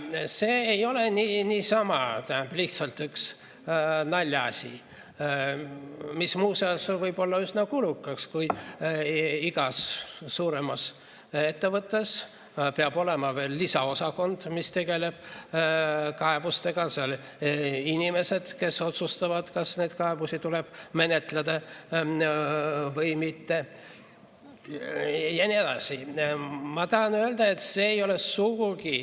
See ei ole niisama lihtsalt üks naljaasi, mis muuseas võib olla üsna kulukas, kui igas suuremas ettevõttes peab olema veel lisaosakond, mis tegeleb kaebustega, inimesed, kes otsustavad, kas neid kaebusi tuleb menetleda või mitte, jne.